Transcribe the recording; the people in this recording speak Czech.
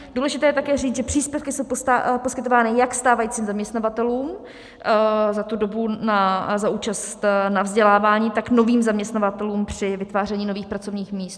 Důležité je také říct, že příspěvky jsou poskytovány jak stávajícím zaměstnavatelům za tu dobu za účast na vzdělávání, tak novým zaměstnavatelům při vytváření nových pracovních míst.